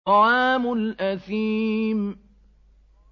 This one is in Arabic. طَعَامُ الْأَثِيمِ